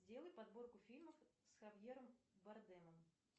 сделай подборку фильмов с хавьером бардемом